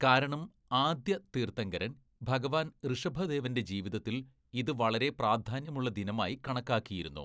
"കാരണം ആദ്യ തീര്‍ഥങ്കരന്‍ ഭഗവാന്‍ ഋഷഭദേവന്റെ ജീവിതത്തില്‍ ഇത് വളരെ പ്രാധാന്യമുള്ള ദിനമായി കണക്കാക്കിയിരുന്നു. "